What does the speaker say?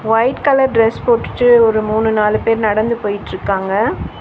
White colour dress போட்டுட்டு ஒரு மூணு நாலு பேர் நடந்து போயிட்ருக்காங்க.